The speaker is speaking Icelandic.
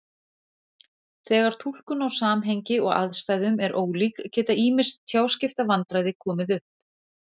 Þegar túlkun á samhengi og aðstæðum er ólík geta ýmis tjáskiptavandræði komið upp.